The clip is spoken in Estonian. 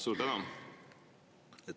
Suur tänu!